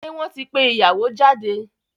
Ṣé wọ́n ti pé ìyàwó jáde?